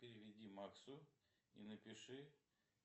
переведи максу и напиши